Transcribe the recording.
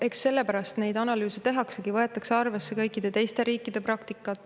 Eks sellepärast neid analüüse tehaksegi, kusjuures võetakse arvesse kõikide teiste riikide praktikat.